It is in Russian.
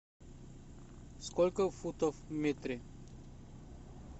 сколько футов в метре